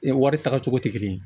wari taga cogo tɛ kelen ye